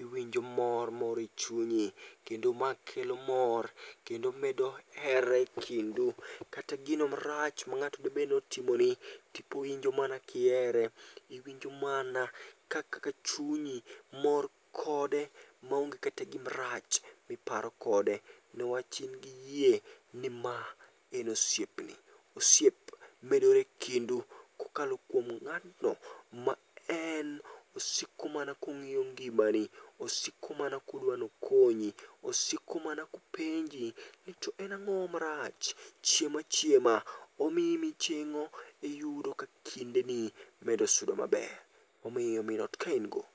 iwinjo mor moro e chunyi. Kendo ma kelo mor, kendo medo hera e kindu. Kata gino marach ma ng'ato debed notimoni, tiwinjo mana kihere. Iwinjo mana ka chunyi mor kode, maonge kata gima rach miparo kode. Newach in gi yie ni ma en osiepni, osiep medore e kindu kokalo kuom ng'atno ma en osiko mana kong'iyo ngimani. Osiko mana kopenji ni ang'o marach, chiem achiema. Omiyi miching'o iyudo ka kindeni medo sudo maber. Omiyo min ot ka in go.